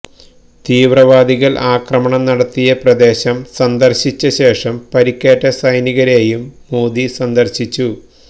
തീവ്രവാദികൾ ആക്രമണം നടത്തിയ പ്രദേശം സന്ദർശിച്ചശേഷം പരിക്കേറ്റ സൈനികരെയും മോദി സന്ദർശിച്ചു